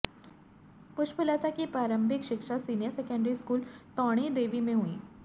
पुष्पलता की प्रारंभिक शिक्षा सीनियर सेकेंडरी स्कूल टौणीदेवी में हुई